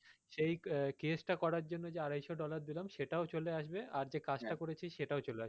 সেই case টা করার জন্য যে আড়াইশো dollar দিলাম সেটাও চলে আসবে আর যে কাজ টা করেছি সেটাও চলে আসবে